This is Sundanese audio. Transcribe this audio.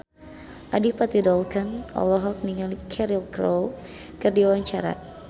Adipati Dolken olohok ningali Cheryl Crow keur diwawancara